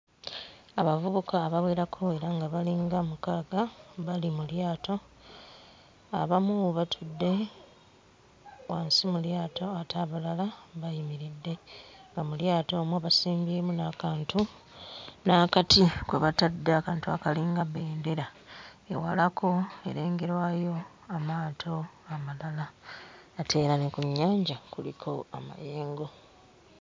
Abavubuka abawerako era nga balinga mukaaga bali mu lyato, abamu batudde wansi mu lyato ate abalala bayimiridde nga mu lyato omwo basimbyemu n'akantu n'akati kwe batadde akantu akalinga bendera. Ewalako erengerwayo amaato amalala ate era ne ku nnyanja kuliko amayengo.